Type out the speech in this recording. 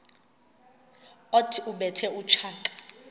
othi ubethe utshaka